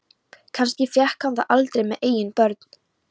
Kannski fékk hann það aldrei með eigin börn.